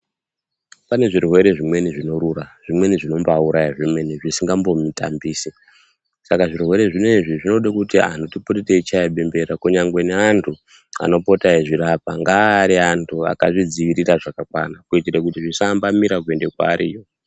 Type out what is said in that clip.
Pane zvirwere zvimweni zvinorura, zvimweni zvinombaauraya zvemene-mene zvisingambomutambisi. Saka zvirwere zvinoizvi zvinoda kuti antu tipote teichaya bembera kunyangwe neantu anopota echizvirapa, ngaave ari vantu vakazvidzivirira zvakakwana kuitire kuti zvisaambamira kuenda kwavariyo.